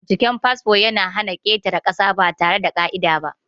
Binciken fasfo ya na hana ƙetare ƙasa ba tare da ƙa'ida ba.